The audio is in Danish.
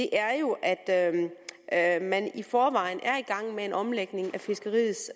er jo at i forvejen er i gang med en omlægning af fiskeriets